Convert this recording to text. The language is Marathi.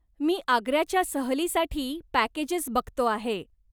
मी आग्र्याच्या सहलीसाठी पॅकेजेस बघतो आहे.